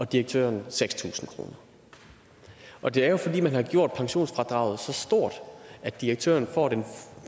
direktøren seks tusind kroner og det er jo fordi man har gjort pensionsfradraget så stort at direktøren får den